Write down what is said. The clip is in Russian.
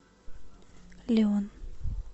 леон